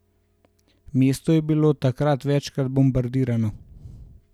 Mesto je bilo od takrat večkrat bombardirano.